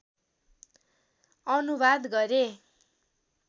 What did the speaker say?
अनुवाद गरे